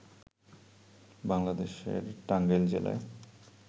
বাংলাদেশের টাঙ্গাইল জেলায়